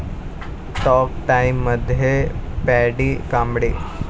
talk टाइममध्ये Paddy Kamble